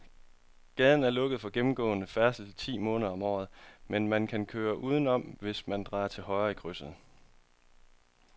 Gaden er lukket for gennemgående færdsel ti måneder om året, men man kan køre udenom, hvis man drejer til højre i krydset.